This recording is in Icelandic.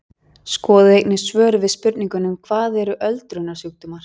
Skoðið einnig svör við spurningunum Hvað eru öldrunarsjúkdómar?